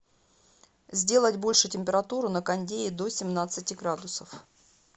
сделать больше температуру на кондее до семнадцати градусов